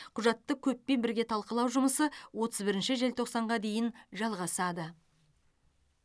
құжатты көппен бірге талқылау жұмысы отыз бірінші желтоқсанға дейін жалғасады